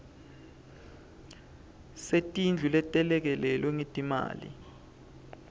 setindlu letelekelelwe ngetimali